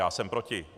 Já jsem proti.